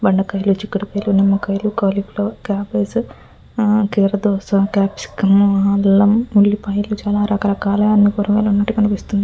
బెండకాయలు చిక్కుడు కాయలు నిమ్మకాయలు కాలీఫ్లవర్ క్యాబేజీ కొర దోస అల్లం ఇలా చాలా రకరకాలైన కూరగాయలు ఉన్నట్టు కనిపిస్తున్నాయి.